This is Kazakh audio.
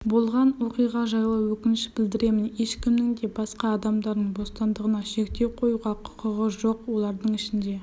болған оқиға жайлы өкініш білдіремін ешкімнің де басқа адамдардың бостандығына шектеу қоюға құқығы жоқ олардың ішінде